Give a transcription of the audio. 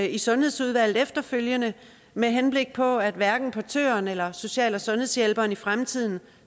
i sundhedsudvalget efterfølgende med henblik på at hverken portøren eller social og sundhedshjælperen i fremtiden